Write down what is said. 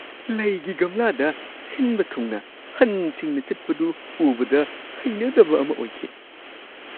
ꯂꯩꯒꯤ ꯒꯝꯂꯥꯗ ꯁꯤꯟꯕ ꯊꯨꯡꯅ ꯍꯟꯁꯤꯡꯅ ꯆꯠꯄꯗꯨ ꯎꯕꯗ ꯍꯩꯅꯗꯕ ꯑꯃ ꯑꯣꯏꯈꯤ ꯫